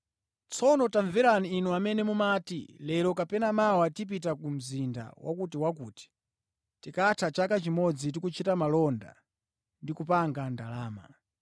Tsono tamverani, inu amene mumati, “Lero kapena mawa tipita ku mzinda wakutiwakuti, tikatha chaka chimodzi tikuchita malonda ndi kupanga ndalama.”